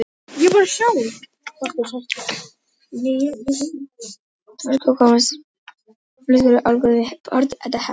Flyksur eru algengastar hérlendis, snjóhagl er algengt, kornsnjór nokkuð algengur, ískorn sjaldséð og íshagl sárasjaldgæft.